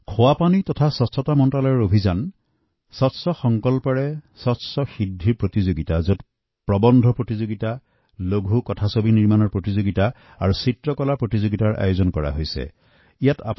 খোৱা পানী আৰু অনাময় মন্ত্ৰালয়ৰ দ্বাৰা স্বচ্ছ সংকল্প জৰিয়তে স্বচ্ছ সিদ্ধি অভিযানৰ অন্তৰ্গত প্ৰৱন্ধ ছুটী ছবি আৰু চিত্ৰাংকন প্ৰতিযোগিতাৰ আয়োজন কৰিব পাৰে